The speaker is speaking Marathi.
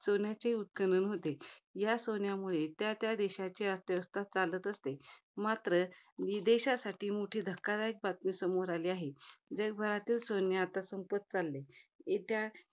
सोन्याचे उत्खनन होते. या सोन्यामुळे, त्या त्या देशाची अर्थव्यवस्था चालत असते. मात्र विदेशासाठी मोठी धक्कादायक बातमी समोर आली आहे. जगभरातील सोने आता संपत चालले आहे. येत्या,